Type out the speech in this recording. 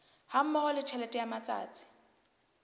hammoho le tjhelete ya matsatsi